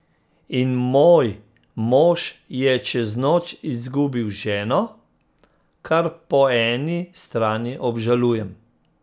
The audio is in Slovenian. In moj mož je čez noč izgubil ženo, kar po eni strani obžalujem.